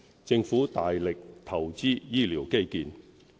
政府大力投資醫療基建。